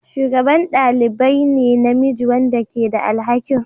shugaban ɗalibi ne na namiji wanda ke da alhakin